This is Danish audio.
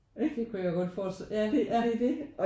Ik? Ja det er det